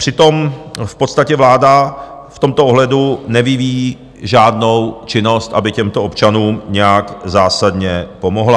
Přitom v podstatě vláda v tomto ohledu nevyvíjí žádnou činnost, aby těmto občanům nějak zásadně pomohla.